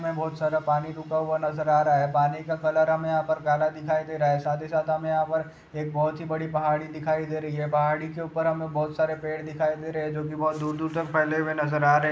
में बहुत सारा पानी रुका हुआ नजर आरहा है पानी कलर हमें काला दिखाई दे रहा है साथ ही साथ हमें यहा एक बहुत ही बड़ी पहाड़ी दिखाई दे रह है पहाड़ी के ऊपर हमें बहुत सारे पेड़ दिखाई दे रहा है जो की बहुत दूर दूर तक फैले हुए नजर आरहे